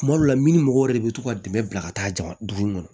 Tuma dɔw la mini mɔgɔw yɛrɛ de bɛ to ka dɛmɛ bila ka taa jama dugu kɔnɔ